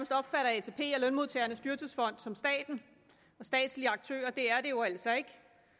lønmodtagernes dyrtidsfond som staten og statslige aktører det er de jo altså ikke